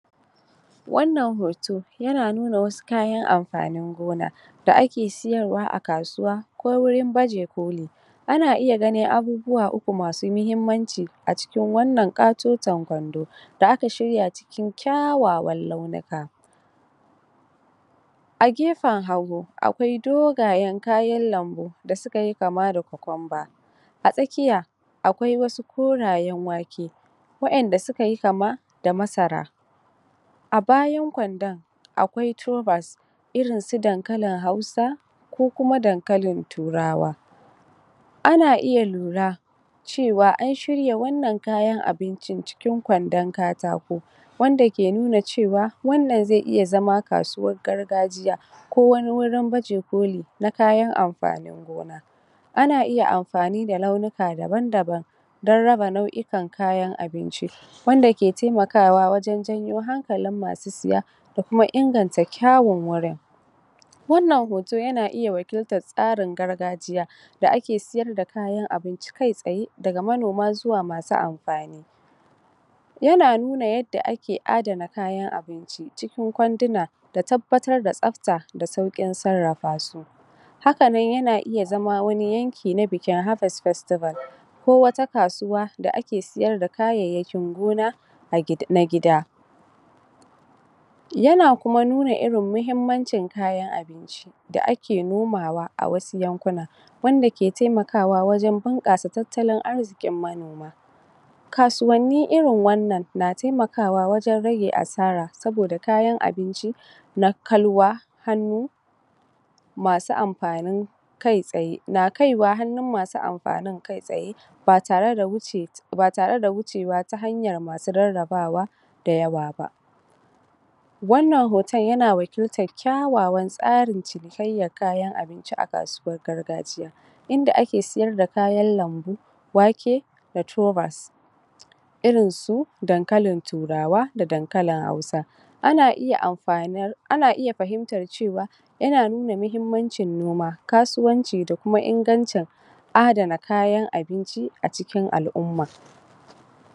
Wannan hoto, yana nuna wasu kayan amfanin gona, da ake siyarwa a kasuwa ko wurinbaje koli. Ana iya ganin abubuwa uku masu muhimmanci, a cikin wannan ƙatoton kwando, da aka shirya cikin kyawawan launuka. A gefen hagu, akwai dogayen kayan lambu, da suka kama da cucumber, A tsakiya, akwai wasu korayen wake, wa'yanda suka yi kama da masara. A bayan kwandon, akwai tubers, irinsu dakalin hausa, ko kuma dankalin turawa. Ana iya lura, cewa an shirya wannan kayan abincin cikin kwandopn katako, wanda ke nuna cewa, wannan zai iya zama kasuwar gargajiya, ko wani wurin baje koli, na kayan amfanin gona. Ana iya amfani da launika dabam-dabam, don raba nauikan kayan abinci, wanda ke taimakawa wajen jawo hankalin masusaya, da kuma inganta kyawun wuri, Wannan hoto yana iya wakiltar tsarin gargajiya, da ake sayar da kayan abinci kai tsaye, daga manoma zuwa masu amfani. Yana nuna yadda aka adana kayan abinci, cikin kwanduna da tabbatar da tsabta, da sauƙin sarrarafa su. Hakanan yana iya zama wani yanki na bikin harvest festival, ko wata kasuwa da ake sayar da kayayyakin gona, na gida. Yana kuma nuna irin muhimmancin kayan abinci, da ake nomawa a wasu yankunan wanda ke taimakwa wajen bunƙasa tattalin arziƙin manoma. KAsuwanniirin wannan na taimakawa, wajen rage asara, saboda kayan abinci, na kalwa hannu masu amfanin kai tsaye, na kaiwa hannun masu afanin kai tsaye, ba tare da wuce ba tare da wucewa ta hanyar masu rarrabawa da yawa ba. Wannan hoton yana wakiltar kyawawan tsarin cinikayyar kayan abinci a kasuwar gargajiya. Inda ake sayar da kayan lambu, wake, da tubers, irin su dankalin turawa da dankalin hausa, ana iya amfani ana iya fahimtar cewa yana nuna muhimmancin noma, kasuwanci da kuma infgancin adana kayan abinci a cikin al'umma.